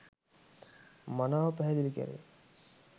මනාව පැහැදිලි කැරේ.